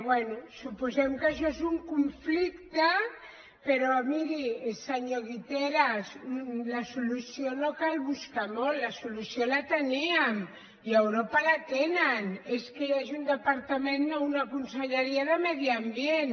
bé suposem que això és un conflicte però miri se·nyor guiteras la solució no cal buscar molt la solució la teníem i a europa la tenen és que hi hagi un de·partament o una conselleria de medi ambient